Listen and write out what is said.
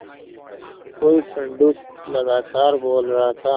कोई पंडूक लगातार बोल रहा था